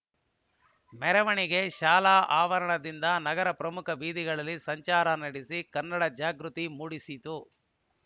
ಮೆರವಣಿಗೆ ಶಾಲಾ ಆವರಣದಿಂದ ನಗರದ ಪ್ರಮುಖ ಬೀದಿಗಳಲ್ಲಿ ಸಂಚಾರ ನಡೆಸಿ ಕನ್ನಡ ಜಾಗೃತಿ ಮೂಡಿಸಿತು